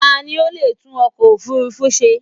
Ta ni o leè tún ọkọ̀ òfurufú se?